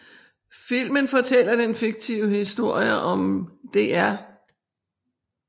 Filmen fortæller den fiktive historie om Dr